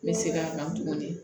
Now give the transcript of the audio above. N bɛ segin a kan tuguni